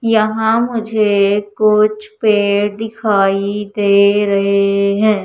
यहां मुझे कुछ पेड़ दिखाई दे रहे हैं।